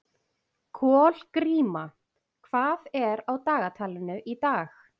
Kolgríma, hvað er á dagatalinu í dag?